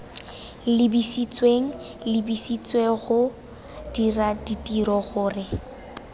lebisitsweng lebisitswenggo dira ditiro gore